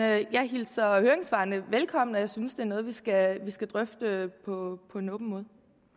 jeg jeg hilser høringssvarene velkommen og jeg synes det er noget vi skal skal drøfte på en åben måde